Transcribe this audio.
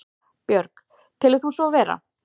Björg: Telur þú svo vera?